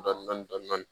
Dɔndɔni dɔndɔni